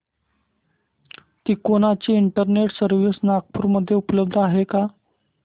तिकोना ची internet service Nagpur मध्ये उपलब्ध आहे का